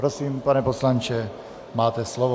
Prosím, pane poslanče, máte slovo.